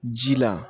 Ji la